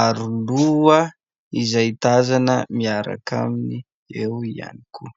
aroloha izay tazana miaraka aminy eo ihany koa.